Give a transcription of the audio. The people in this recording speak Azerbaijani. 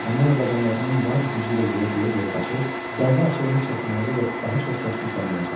Ramona dabanlarının bar gücü ilə yerə döyə-döyə qaçır, bağı açılmış çəkmələri ilə daha çox səs-küy salmağa çalışırdı.